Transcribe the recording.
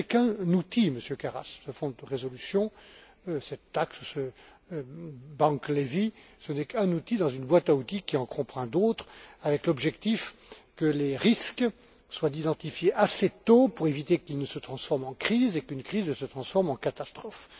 Mais ce n'est qu'un outil, Monsieur Karas. Ce fonds de résolution, cette taxe ou ce bank levy n'est qu'un outil dans une boîte à outils qui en comprend d'autres, avec l'objectif que les risques soient identifiés assez tôt pour éviter qu'ils ne se transforment en crise et qu'une crise ne se transforme en catastrophe.